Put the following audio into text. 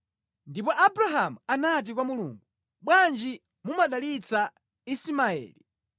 Ndipo Abrahamu anati kwa Mulungu, “Bwanji mumudalitse Ismaeli.”